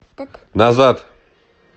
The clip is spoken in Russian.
назад